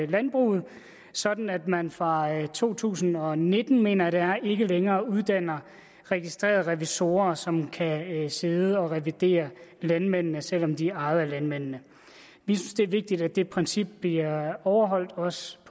landbruget sådan at man fra to tusind og nitten mener jeg det er ikke længere uddanner registrerede revisorer som kan sidde og revidere landmændene selv om de er ejet af landmændene vi synes det er vigtigt at det princip bliver overholdt også